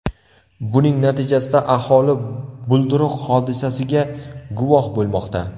Buning natijasida aholi bulduruq hodisasiga guvoh bo‘lmoqda.